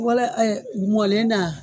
Wala mɔlen na?